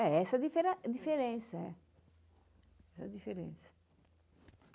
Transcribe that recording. É, essa difera diferença. Essa diferença.